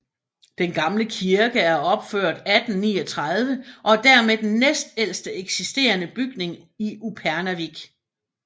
Den gamle kirke er opført 1839 og er dermed den næstældste eksisterende bygning i Upernavik